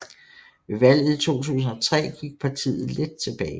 Ved valget i 2003 gik partiet lidt tilbage